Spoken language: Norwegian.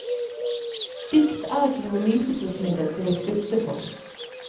Dikt er ikke noe nytelsesmiddel til å sutte på.